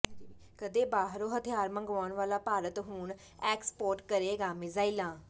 ਕਦੇ ਬਾਹਰੋਂ ਹਥਿਆਰ ਮੰਗਵਾਉਣ ਵਾਲਾ ਭਾਰਤ ਹੁਣ ਐਕਸਪੋਰਟ ਕਰੇਗਾ ਮਿਜ਼ਾਇਲਾਂ